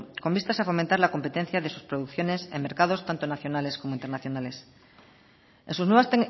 con vistas a fomentar la competencia de sus producciones en mercados tanto nacionales como internacionales en sus nuevas